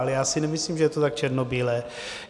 Ale já si nemyslím, že je to tak černobílé.